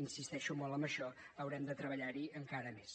insisteixo molt en això haurem de treballar hi encara més